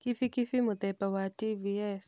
Kibikibi mũthemba wa TVS.